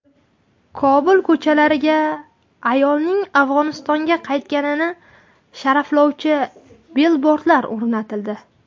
Kobul ko‘chalariga ayolning Afg‘onistonga qaytganini sharaflovchi bilbordlar o‘rnatildi .